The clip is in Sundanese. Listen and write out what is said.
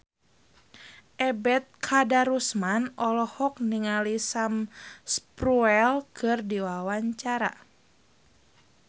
Ebet Kadarusman olohok ningali Sam Spruell keur diwawancara